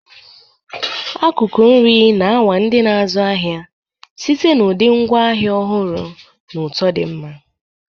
Akụkụ nri na-anwa ndị na-azụ ahịa site na ụdị ngwaahịa ọhụrụ na ụtọ di nma.